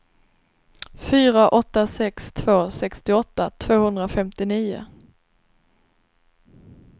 fyra åtta sex två sextioåtta tvåhundrafemtionio